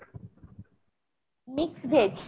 mixed veg ?